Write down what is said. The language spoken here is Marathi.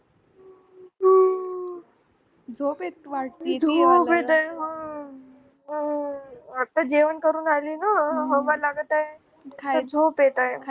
अं झोप येते आता जेवण करून आली ना तर झोप येते